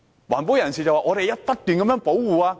環保人士只會不斷說要保護。